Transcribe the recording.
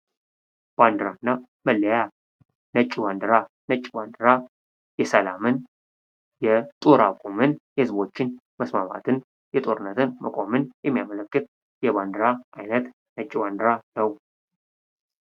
ባንዲራና መለያ ነጩ ባንዲራ ነጩ ባንዲራ የሰላምን የጦር አቁመን የህዝቦችን መስማማትን የጦርነትን መቆምን የሚያመለክት የባንዲራ አይነት ነጩ ባንዲራ ነው ::